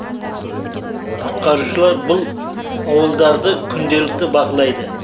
құтқарушылар бұл ауылдарды күнделікті бақылайды